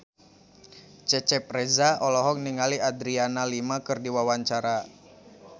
Cecep Reza olohok ningali Adriana Lima keur diwawancara